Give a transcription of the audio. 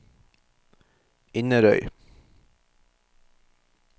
Inderøy